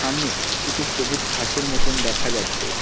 সামনে কিছু সবুজ ঘাসের মতন দেখা যাচ্ছে।